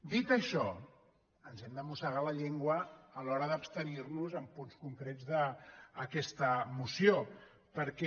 dit això ens hem de mossegar la llengua a l’hora d’abstenir nos en punts concrets d’aquesta moció perquè